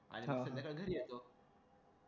आता मी घरी आलो